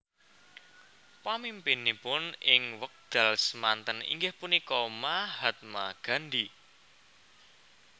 Pamimpinipun ing wekdal semanten inggih punika Mahatma Gandhi